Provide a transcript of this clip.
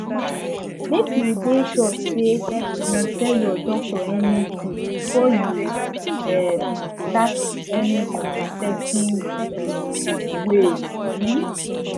make you de sure say you tell ur doctor anything before you um start any new contraceptives um ways um